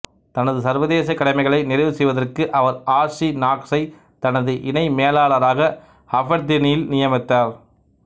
தனது சர்வதேச கடமைகளை நிறைவு செய்வதற்கு அவர் ஆர்ச்சி நாக்ஸை தனது இணைமேலாளராக அபெர்தீனில் நியமித்தார்